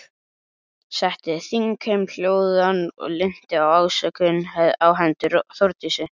Setti þingheim hljóðan og linnti ásökunum á hendur Þórdísi.